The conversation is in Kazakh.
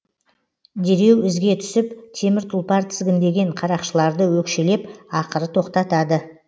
дереу ізге түсіп темір тұлпар тізгіндеген қарақшыларды өкшелеп ақыры тоқтатады